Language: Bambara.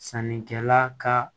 Sannikɛla ka